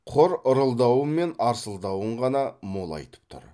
құр ырылдауы мен арсылдауын ғана молайтып тұр